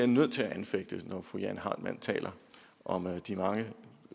nødt til at anfægte det når fru jane heitmann taler om de mange